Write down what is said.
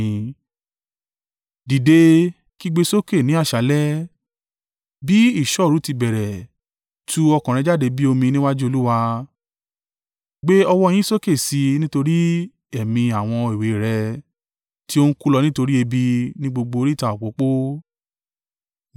Dìde, kígbe sókè ní àṣálẹ́, bí ìṣọ́ òru ti bẹ̀rẹ̀ tú ọkàn rẹ̀ jáde bí omi níwájú Olúwa. Gbé ọwọ́ yín sókè sí i nítorí ẹ̀mí àwọn èwe rẹ̀ tí ó ń kú lọ nítorí ebi ní gbogbo oríta òpópó.